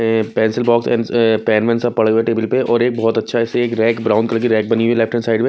ये pencil box and pen में सब पड़े हुए टेबल पे और एक बहुत अच्छा ऐसे एक रैक ब्राउन कलर की रैक बनी हुई है लेफ्ट हैंड साइड --